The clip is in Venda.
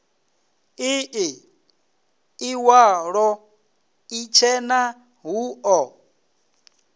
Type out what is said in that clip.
ii iwalo itshena hu o